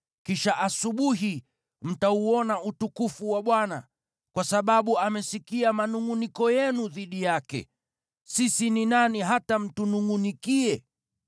kisha asubuhi mtauona utukufu wa Bwana , kwa sababu amesikia manungʼuniko yenu dhidi yake. Sisi ni nani hata mtunungʼunikie?”